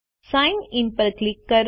sign in પર click કરો